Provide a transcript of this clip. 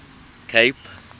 cape